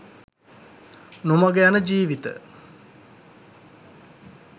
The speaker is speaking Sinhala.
නොමඟ යන ජීවිත